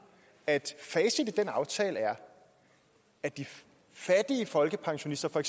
at facit i den aftale er at de fattige folkepensionister for